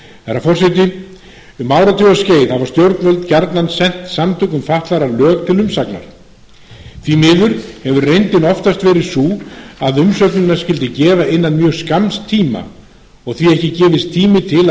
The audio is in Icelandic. herra forseti um áratugaskeið hafa stjórnvöld gjarnan sent samtökum fatlaðra lög til umsagnar því miður hefur reyndin oftast verið sú að umsögnina skyldi gefa innan mjög skamms tíma og því ekki gefist tími til að